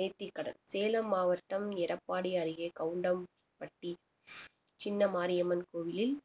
நேத்திக்கடன் சேலம் மாவட்டம் எடப்பாடி அருகே கவுண்டம்பட்டி சின்ன மாரியம்மன் கோவிலில்